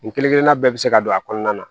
Nin kelen kelenna bɛɛ bɛ se ka don a kɔnɔna na